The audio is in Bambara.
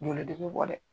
Joli de bɛ bɔ dɛ